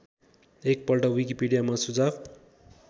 एकपल्ट विकिपिडियामा सुझाव